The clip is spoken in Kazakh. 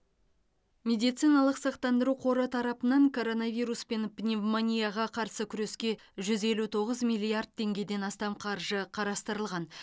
медициналық сақтандыру қоры тарапынан коронавирус пен пневмонияға қарсы күреске жүз елу тоғыз миллиард теңгеден астам қаржы қарастырылған